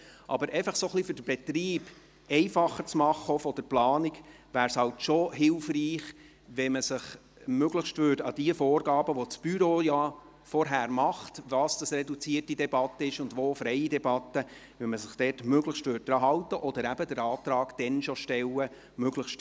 Um aber den Betrieb, auch von der Planung her, zu vereinfachen, wäre es schon hilfreich, wenn man sich möglichst an die Vorgaben hielte, welche das Büro ja vorgängig macht in Bezug, wo reduzierte und wo freie Debatte vorgesehen ist.